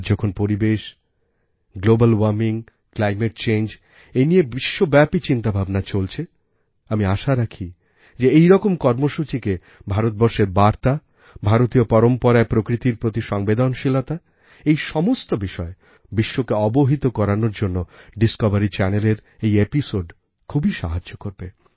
আজ যখন পরিবেশ গ্লোবাল ওয়ার্মিং ক্লাইমেট changeনিয়ে বিশ্বব্যাপী চিন্তাভাবনা চলছে আমি আশা রাখি যে এইরকম কর্মসূচিকে ভারতবর্ষের বার্তা ভারতীয় পরম্পরায় প্রকৃতির প্রতি সংবেদনশীলতাএই সমস্ত বিষয় বিশ্বকে অবহিত করানোর জন্যDiscoveryচ্যানেলের এই এপিসোড খুবই সাহায্য করবে